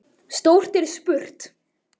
Stórt er spurt!